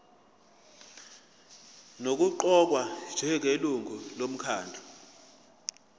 nokuqokwa njengelungu lomkhandlu